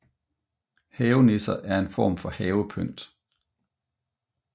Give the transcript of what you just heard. Havenisser er en form for havepynt